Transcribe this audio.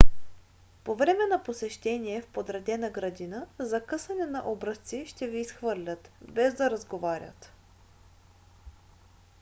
по време на посещение в подредена градина за късане на образци ще ви изхвърлят без да разговарят